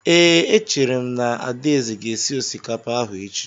Ee, echere m na Adaeze ga-esi osikapa ahụ echi.